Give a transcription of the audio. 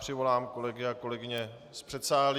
Přivolám kolegy a kolegyně z předsálí.